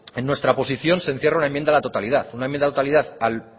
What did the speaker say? en nuestra posición se encierra una enmienda a la totalidad una enmienda a la totalidad al